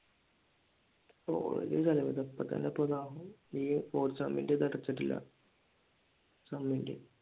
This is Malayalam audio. ഓഹ് ഒരു ചെലവും ഇല്ല ഇപ്പൊ തന്നെ ദാ ഈ fourth സെമ്മിന്റെ ഇതടച്ചിട്ടില്ല എക്സ്‍മിൻറേം